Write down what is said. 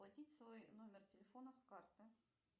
оплатить свой номер телефона с карты